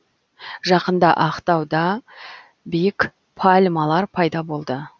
жақында ақтауда биік пальмалар пайда болды